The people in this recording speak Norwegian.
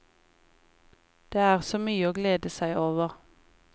Det er så mye å glede seg over.